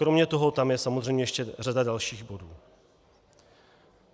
Kromě toho tam je samozřejmě ještě řada dalších bodů.